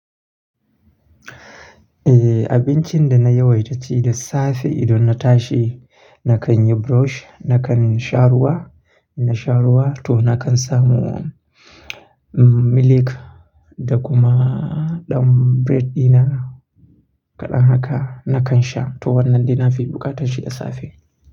Eh, abincin da naya waita ci da safe idan na tashi nakan yi brush, nakan sha ruwa, in na sha ruwa toh nakan samu milk da kuma ɗan bread dina kaɗan haka nakan sha toh wannan dai fi buƙatar shi da safe.